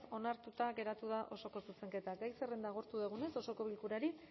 onartuta geratu da osoko zuzenketa gai zerrenda agortu dugunez osoko bilkurari